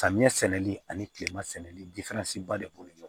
Samiyɛ sɛnɛli ani kilema sɛnɛli ba de b'o